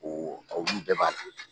O olu bɛɛ b'a dɔn